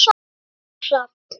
Úlfur Hrafn.